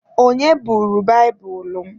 Onye buuru baibulu m?